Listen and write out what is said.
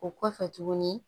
O kɔfɛ tuguni